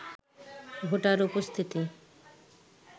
voter উপস্থিতি